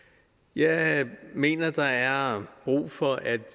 jeg mener at der er brug for at